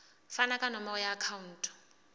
fane ka nomoro ya akhauntu